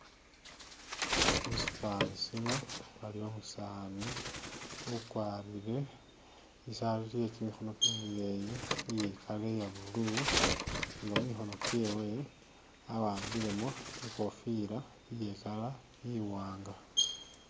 Musifani sino waliwo umusani ugwarile isaati ye gimikhono gimileyi iye color iya blue nga mumukhono gyewe awambilemo ikhofila iye color iwnaga.